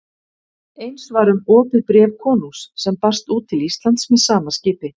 Eins var um opið bréf konungs sem barst út til Íslands með sama skipi.